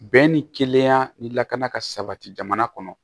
Bɛn ni kelenya ni lakana ka sabati jamana kɔnɔ